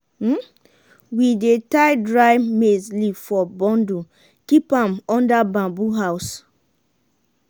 we dey tye dry maize leaf for bundle keep am under bamboo house.